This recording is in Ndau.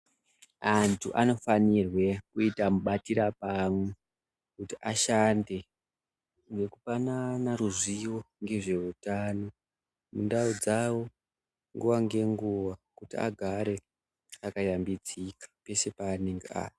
Antu anofanirwe kuita mubatira pamwe kuti ashande nekupanana ruzivo ngezveutano. Mundau dzavo nguva ngenguva kuti agare akayambidzika pese paanenge ari.